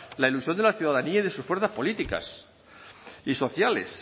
la ilusión de la ciudadanía y de sus fuerzas políticas y sociales